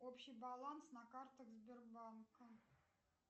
общий баланс на картах сбербанка